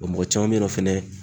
Wa mɔgɔ caman bɛ ye nɔ fɛnɛ